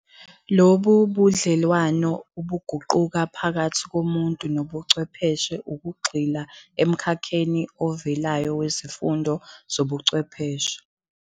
Lobu budlelwano obuguqukayo phakathi komuntu nobuchwepheshe ukugxila emkhakheni ovelayo wezifundo zobuchwepheshe.